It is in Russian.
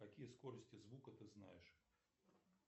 какие скорости звука ты знаешь